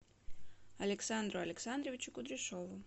александру александровичу кудряшову